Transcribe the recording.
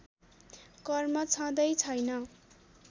कर्म छँदै छैन